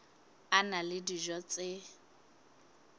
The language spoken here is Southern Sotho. a na le dijo tse